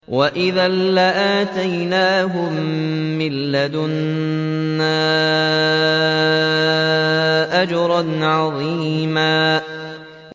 وَإِذًا لَّآتَيْنَاهُم مِّن لَّدُنَّا أَجْرًا عَظِيمًا